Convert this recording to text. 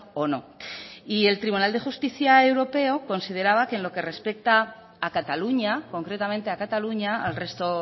o no y el tribunal de justicia europeo consideraba que en lo que respecta a cataluña concretamente a cataluña al resto